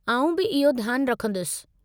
आउं बि इहो ध्यानु रखंदुसि।